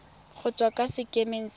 go tswa kwa sekemeng sa